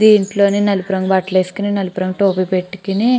దీంట్లోనే నలుపు రంగు బట్టలు వేసుకొని నలుపు రంగు టోపీ పెట్టుకోని --